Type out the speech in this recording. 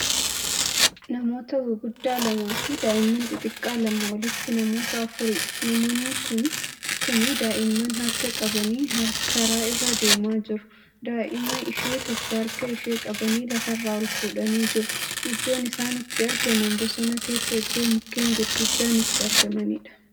Namoota gurguddaa lamaafi daa'imman xixxiqqaa lama walitti namoota afuriidha. namoonni Kuni daa'imman harka qabanii karaa irra deemaa jiru. daa'ima ishee tokko harka ishee qabanii lafarraa ol fuudhanii jiru. iddoon isaan itti argaman bosona keessaa iddoo mukkeen gurguddaan itti argamaniidha